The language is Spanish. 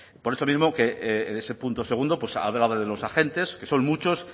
por eso mismo que en ese punto segundo pues ha hablado de los agentes que son muchos